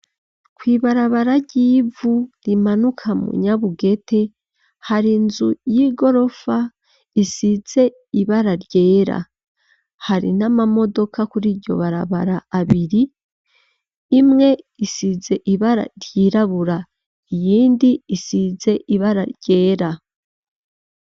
Kw'ibarabara ry'ivu, rimanuka mu Nyabugete, hari inzu y'igorofa, isize ibara ryera, hari n'amamodoka, kuri iryo barabara abiri, imwe isize ibara ryirabura, iyindi, isize ibara ryera.